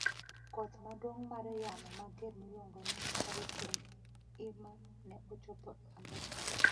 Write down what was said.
Koth maduong' mar yamo mager miluongo ni Hurricane Irma ne ochopo Amerka